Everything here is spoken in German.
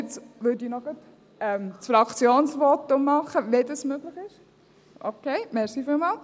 Jetzt würde ich gleich noch das Fraktionsvotum machen, wenn dies möglich ist.